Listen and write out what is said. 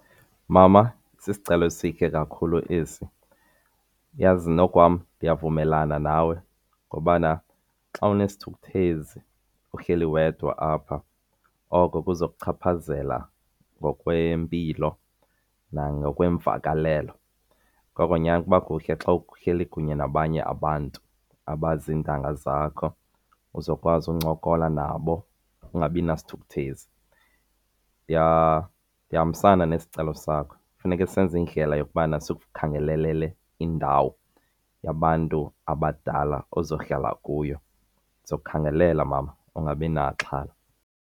Mama, sisicelo esihle kakhulu esi. Yazi nokukwam ndiyavumelana nawe ngobana xa unesithukuthezi uhleli wedwa apha oko kuza kuchaphazela ngokwempilo nangokweemvakalelo. Ngoko nyhani kuba kuhle xa uhleli kunye nabanye abantu abazintanga zakho uzokwazi uncokola nabo ungabi nasithukuthezi. Ndihambisana nesicelo sakho, funeke senze indlela yokubana sikukhangelele indawo yabantu abadala ozohlala kuyo. Ndizokukhangela mama, ungabi naxhala.